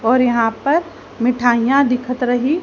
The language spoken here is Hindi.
और यहां पर मिठाइयां दिखत रही।